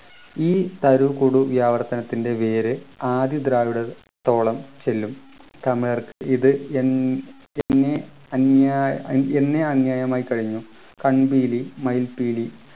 ഈ തരൂ കൊടു ആവർത്തനത്തിൻ്റെ വേര് ആദി ദ്രാവിഡ ത്തോളം ചെല്ലും തമിഴർക്ക് ഇത് എൻ എന്നെ അന്യ എന്നെ അന്യമായി കഴിഞ്ഞു കൺപീലി മയിൽപീലി